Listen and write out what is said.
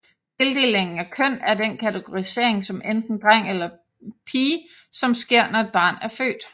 Tildeling af køn er den kategorisering som enten dreng eller pige som sker når et barn er født